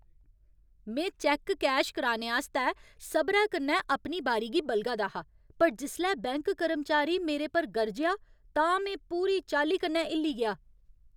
में cheque cash कराने आस्तै सबरै कन्नै अपनी बारी गी बलगा दा हा पर जिसलै बैंक कर्मचारी मेरे पर गरजेआ तां में पूरी चाल्ली कन्नै हिल्ली गेआ।